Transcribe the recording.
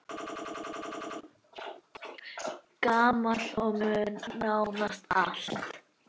Gamall og muna nánast allt.